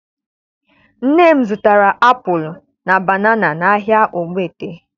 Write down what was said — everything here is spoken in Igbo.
Nne m zụtara apụlụ na banana n'ahịa Ogbete